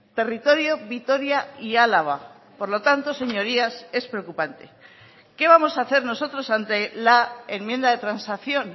territorio vitoria y álava por lo tanto señorías es preocupante qué vamos a hacer nosotros ante la enmienda de transacción